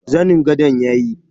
zanin gadon yayi.